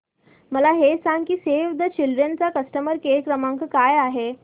मला हे सांग की सेव्ह द चिल्ड्रेन चा कस्टमर केअर क्रमांक काय आहे